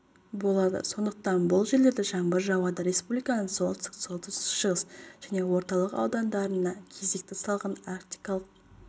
болады сондықтан бұл жерлерде жаңбыр жауады республиканың солтүстік солтүстік-шығыс және орталық аудандарына кезекті салқын арктикалық